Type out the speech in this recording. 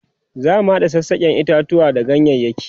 zamu hada sassaken itatuwa da ganyayaki